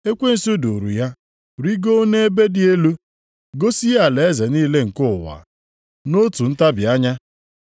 Ekwensu duuru ya rigoo nʼebe dị elu, gosi ya alaeze niile nke ụwa, nʼotu ntabi anya.